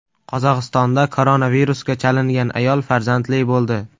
Qozog‘istonda koronavirusga chalingan ayol farzandli bo‘ldi.